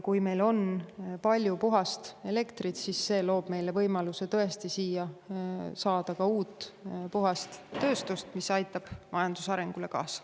Kui meil on palju puhast elektrit, siis see loob meile võimaluse tõesti siia saada uut puhast tööstust, mis aitab majanduse arengule kaasa.